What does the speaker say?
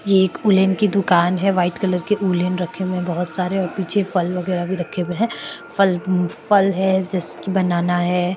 ये एक उलेण की दुकान है व्हाइट कलर के उलण रखे हुए है बहुत सारे और पीछे फल वगेरा भी रखे हुये फल अ फल है जैसे की बनाना है।